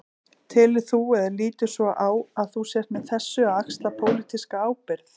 Telur þú, eða lítur svo á að þú sért með þessu að axla pólitíska ábyrgð?